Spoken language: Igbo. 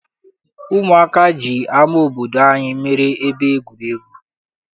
Ụmụaka ji ama obodo anyị meere ebe egwuregwu.